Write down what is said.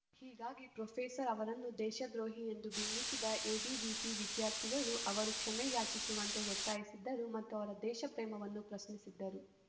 ಹೀಗಾಗಿ ಪ್ರೊಫೆಸರ್‌ ಅವರನ್ನು ದೇಶದ್ರೋಹಿ ಎಂದು ಬಿಂಬಿಸಿದ ಎಬಿವಿಪಿ ವಿದ್ಯಾರ್ಥಿಗಳು ಅವರು ಕ್ಷಮೆ ಯಾಚಿಸುವಂತೆ ಒತ್ತಾಯಿಸಿದ್ದರು ಮತ್ತು ಅವರ ದೇಶಪ್ರೇಮವನ್ನು ಪ್ರಶ್ನಿಸಿದ್ದರು